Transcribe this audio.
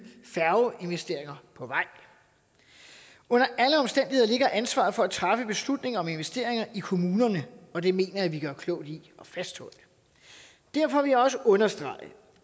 færgeinvesteringer på vej under alle omstændigheder ligger ansvaret for at træffe beslutningen om investeringer i kommunerne og det mener jeg at vi gør klogt i at fastholde derfor vil jeg også understrege